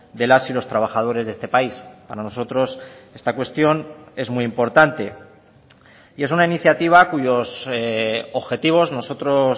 de las y los trabajadores de este país para nosotros esta cuestión es muy importante y es una iniciativa cuyos objetivos nosotros